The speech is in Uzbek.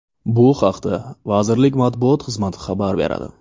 Bu haqda vazirlik matbuot xizmati xabar beradi .